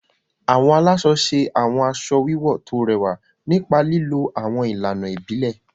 Awọn alaṣọ ṣe awọn aṣọ wiwọ to rẹwa nipa lilo awọn ilana ibile.